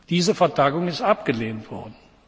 Diese Vertagung ist abgelehnt worden.